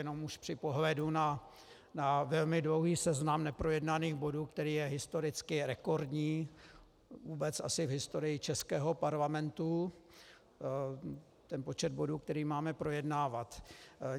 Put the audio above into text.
Jenom už při pohledu na velmi dlouhý seznam neprojednaných bodů, který je historicky rekordní, vůbec asi v historii českého parlamentu, ten počet bodů, který máme projednávat.